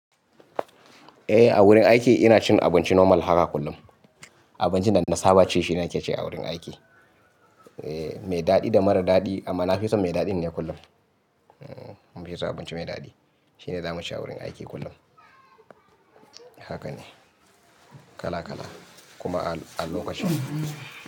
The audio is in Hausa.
Eh, a wurin aiki ina cin abinci normal haka kullum. Abincin da na saba ci shine nake ci a wurin aiki. Eh, mai daɗi da mara daɗi amma na fi son mai daɗi dai kullum. Na fi son abinci mai daɗi shine zamu ci a wurin aiki kullum. Haka ne, kala kala kuma a lokacin.